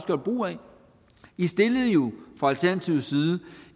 gjort brug af i stillede jo fra alternativets side